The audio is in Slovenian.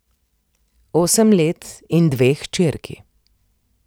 Osem let in dve hčerki.